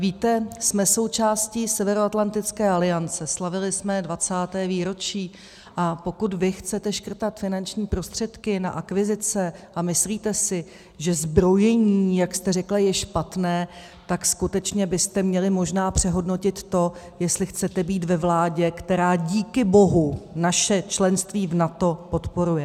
Víte, jsme součástí Severoatlantické aliance, slavili jsme 20. výročí, a pokud vy chcete škrtat finanční prostředky na akvizice a myslíte si, že zbrojení, jak jste řekla, je špatné, tak skutečně byste měli možná přehodnotit to, jestli chcete být ve vládě, která díky bohu naše členství v NATO podporuje.